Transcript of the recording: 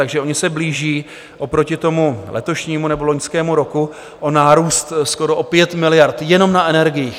Takže oni se blíží oproti tomu letošnímu nebo loňskému roku o nárůst skoro o 5 miliard jenom na energiích.